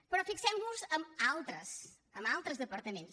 però fixem nos en altres en altres departaments